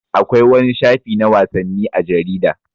Akwai wani shafi na wasanni a jarida.